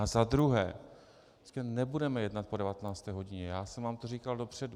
A za druhé, nebudeme jednat po 19. hodině, já jsem vám to říkal dopředu.